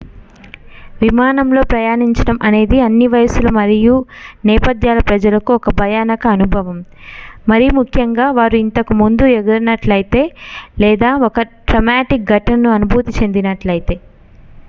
విమానంలో ప్రయాణించడం అనేది అన్ని వయస్సుల మరియు నేపథ్యాల ప్రజలకు ఒక భయానక అనుభవం మరిముఖ్యంగా వారు ఇంతకు ముందు ఎగరనట్లయితే లేదా ఒక ట్రామాటిక్ ఘటనను అనుభూతి చెందనట్లయితే